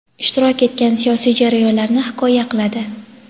ishtirok etgan siyosiy jarayonlarni hikoya qiladi.